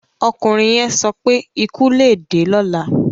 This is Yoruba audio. .Ọkùnrin yẹn sọ pé: "Ikú lè dé lọ́la".